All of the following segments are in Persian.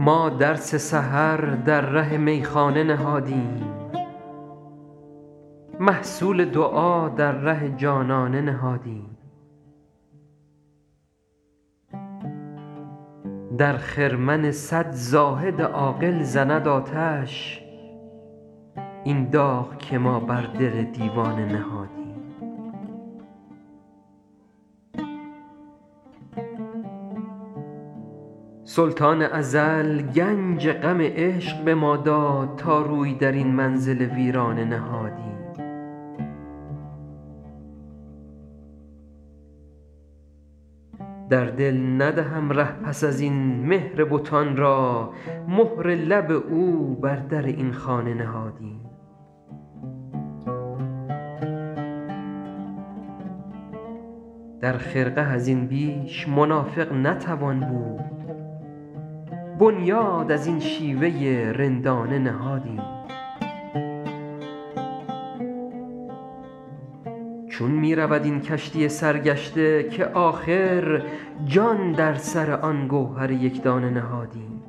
ما درس سحر در ره میخانه نهادیم محصول دعا در ره جانانه نهادیم در خرمن صد زاهد عاقل زند آتش این داغ که ما بر دل دیوانه نهادیم سلطان ازل گنج غم عشق به ما داد تا روی در این منزل ویرانه نهادیم در دل ندهم ره پس از این مهر بتان را مهر لب او بر در این خانه نهادیم در خرقه از این بیش منافق نتوان بود بنیاد از این شیوه رندانه نهادیم چون می رود این کشتی سرگشته که آخر جان در سر آن گوهر یک دانه نهادیم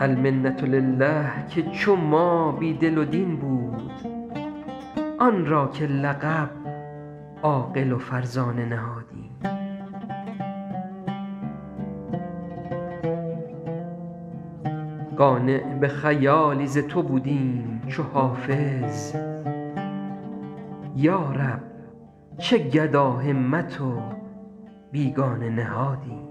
المنة لله که چو ما بی دل و دین بود آن را که لقب عاقل و فرزانه نهادیم قانع به خیالی ز تو بودیم چو حافظ یا رب چه گداهمت و بیگانه نهادیم